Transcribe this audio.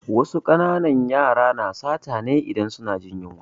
Wasu ƙananan yara na sata ne idan suna jin yunwa